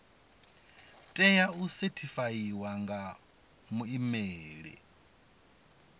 tea u sethifaiwa nga muimeli